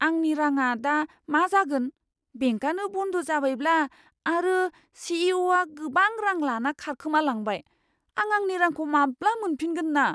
आंनि राङा दा मा जागोन! बेंकआनो बन्द जाबायब्ला आरो सि.इ.अ'.आ गोबां रां लाना खारखोमालांबाय? आं आंनि रांखौ माब्लाबा मोनफिनगोन ना?